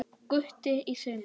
Gutti í sumar.